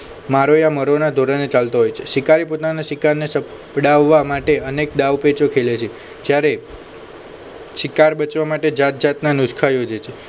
મારો યા મરોના ધોરણે ચાલતો હોય છે શિકારી પોતાના શિકારને સપડાવવા માટે અનેક દાવપેચો ખેલે છે જ્યારે શિકાર બચવા માટે જાતજાતના નુસખા યોજે છે